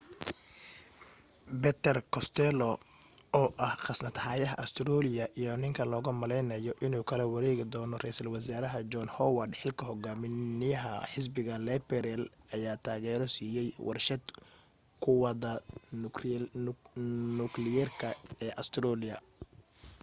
peter costello oo ah khasnad hayaha australia iyo ninka logu malaynaayo inuu kala wareegi doono raysal wasaaraha john howard xilka hogaamiyaha xisbiga liberal ayaa taageero siiyay warshad quwadda nukliyeerka ee australia